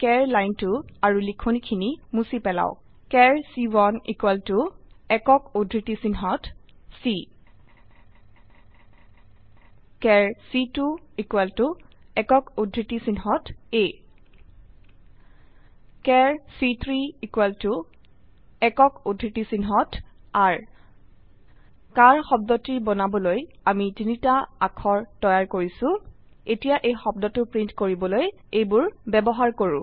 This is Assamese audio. চাৰ লাইনটো আৰু লিখনি খিনি মুছি পেলাওক চাৰ চি1 একক উদ্ধৃতিচিহ্নত c চাৰ চি2 একক উদ্ধৃতিচিহ্নেত a চাৰ চি3 একক উদ্ধৃতিচিহ্নেত r চাৰ শব্দটি বনাবলৈ আমি তিনিটা অাক্ষৰ তৈয়াৰ কৰিছো এতিয়া এই শব্দটো প্ৰিন্ট কৰিবলৈ এইবোৰ ব্যবহাৰ কৰো